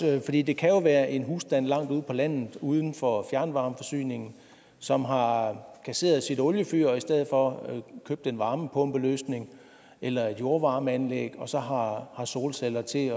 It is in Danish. fordi det kan være en husstand langt ude på landet uden for fjernvarmeforsyningen som har kasseret sit oliefyr og i stedet for købt en varmepumpeløsning eller et jordvarmeanlæg og så har solceller til